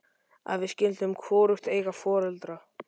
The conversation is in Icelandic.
Að við skyldum hvorugt eiga foreldra.